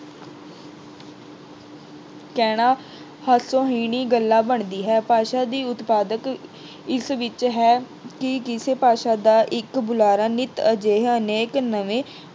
ਕਹਿਣਾ ਹਾਸੋਹੀਣੀ ਗੱਲ ਬਣਦੀ ਹੈ। ਭਾਸ਼ਾ ਦੀ ਉਤਪਾਦਕ ਇਸ ਵਿੱਚ ਹੈ ਕਿ ਕਿਸੇ ਭਾਸ਼ਾ ਦਾ ਇੱਕ ਬੁਲਾਰਾ ਨਿੱਤ ਅਜਿਹਾ ਨੇਕ ਨਵੇਂ